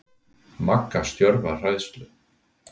Magga stjörf af hræðslu.